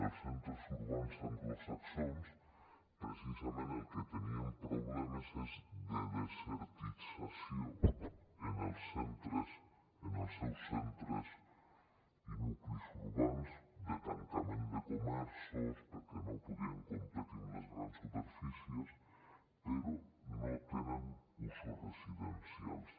els centres urbans anglosaxons precisament del que tenien problemes és de desertització en els seus centres i nuclis urbans de tancament de comerços perquè no podien competir amb les grans superfícies però no tenen usos residencials